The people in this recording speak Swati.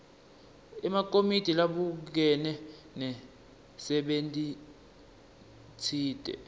emakomiti labukene nemsebentitsite